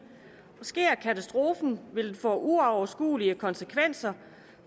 sker katastrofen vil det få uoverskuelige konsekvenser